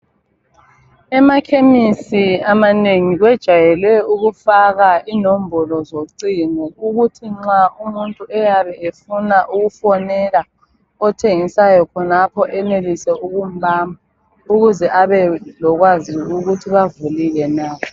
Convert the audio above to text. EMakhesi amanengi kwejwayele ukufaka inombolo zocingo. Ukuthi nxa umuntu eyabe efuna ukufonela othengisayo khonapho enelise ukumbamba ukuze abelokwazi ukuthi bavulile na